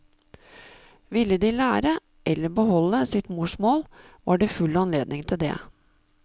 Ville de lære, eller beholde, sitt morsmål, var det full anledning til det.